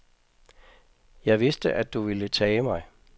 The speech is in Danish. Jeg vidste, at du ville tage mig.